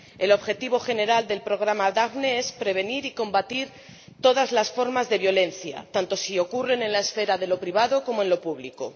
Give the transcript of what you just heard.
El objetivo general del programa Daphne es prevenir y combatir todas las formas de violencia, tanto si ocurren en la esfera de lo privado como en lo público.